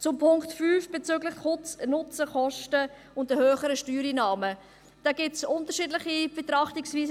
Zu Punkt 5 bezüglich Nutzen, Kosten und höherer Steuereinnahmen: Dazu gibt es unterschiedliche Betrachtungsweisen.